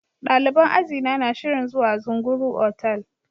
Daliban ajina na shirin zuwa Zunguru otal.